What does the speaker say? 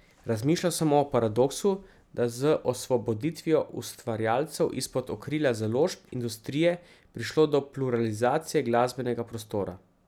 Razmišljal sem o paradoksu, da je z osvoboditvijo ustvarjalcev izpod okrilja založb, industrije, prišlo do pluralizacije glasbenega prostora.